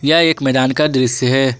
यह एक मैदान का दृश्य है।